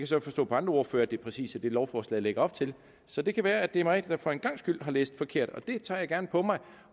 så forstå på andre ordførere at det præcis er det lovforslaget lægger op til så det kan være at det er mig der for en gangs skyld har læst forkert og det tager jeg gerne på mig